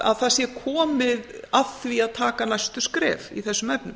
að það sé komið að því að taka næstu skref í þessum efnum